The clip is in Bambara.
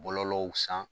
Bɔlɔlɔw san